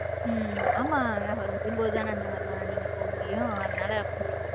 ஆமா அவர் வரும்போது தானே அந்த மாறி எல்லாம் நீங்க போக முடியும் அதனால.